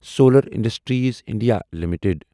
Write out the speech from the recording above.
solar industries India limited